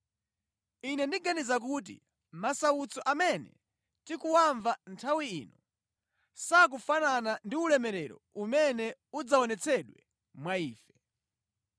Ine ndiganiza kuti masautso amene tikuwamva nthawi ino, sakufanana ndi ulemerero umene udzaonetsedwa mwa ife.